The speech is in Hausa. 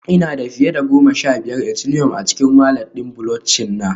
Ina da fiye da goma sha biyar Ethileum a cikin walat ɗin Bulockchin na